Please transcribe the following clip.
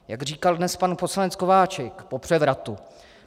Jak říkal dnes pan poslanec Kováčik - po převratu.